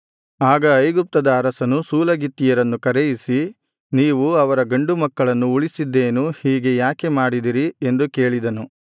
ಆಗ ಐಗುಪ್ತದ ಅರಸನು ಸೂಲಗಿತ್ತಿಯರನ್ನು ಕರೆಯಿಸಿ ನೀವು ಅವರ ಗಂಡು ಮಕ್ಕಳನ್ನು ಉಳಿಸಿದ್ದೇನು ಹೀಗೆ ಯಾಕೆ ಮಾಡಿದಿರಿ ಎಂದು ಕೇಳಿದನು